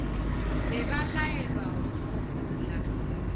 be ba laelwa go hlobola